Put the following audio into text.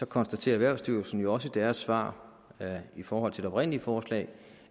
konstaterer erhvervsstyrelsen jo også i deres svar i forhold til det oprindelige forslag